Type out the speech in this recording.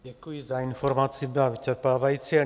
Děkuji za informaci, byla vyčerpávající.